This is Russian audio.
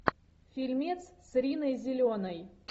фильмец с риной зеленой